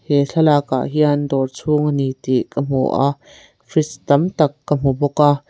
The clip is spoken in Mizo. he thlalak ah hian dawr chhung a ni tih ka hmu a fridge tam tak ka hmu bawk a.